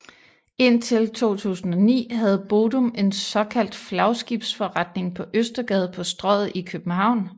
Indtil 2009 havde Bodum en såkaldt flagskibsforretning på Østergade på Strøget i København